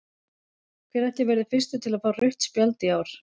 Hver ætli verði fyrstur til að fá rautt spjald í ár?